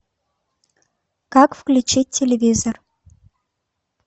как включить телевизор